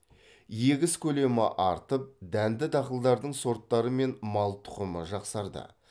егіс көлемі артып дәнді дақылдардың сорттары мен мал тұқымы жақсарды